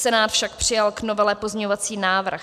Senát však přijal k novele pozměňovací návrh.